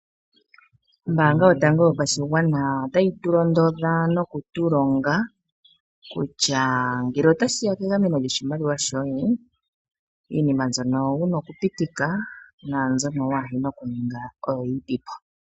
Ombaanga yotango yopashigwana otayi tu londodha ano okutu longa kutya ngele otashiya kegameno lyoshiimaliwa shoye, iinima mbyoka wuna oku pitika naambyoka waahena oku ninga oyinipo.